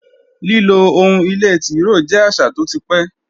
Lílo ohun ìlé tìróò jẹ́ àṣà tó ti pẹ́